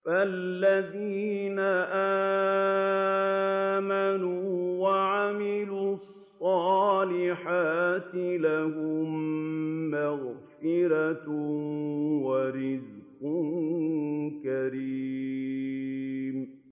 فَالَّذِينَ آمَنُوا وَعَمِلُوا الصَّالِحَاتِ لَهُم مَّغْفِرَةٌ وَرِزْقٌ كَرِيمٌ